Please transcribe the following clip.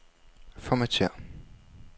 Formatér.